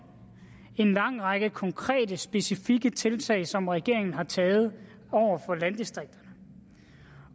en lang række konkrete specifikke tiltag som regeringen har taget over for landdistrikterne